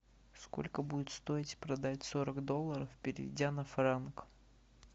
сколько будет стоить продать сорок долларов перейдя на франк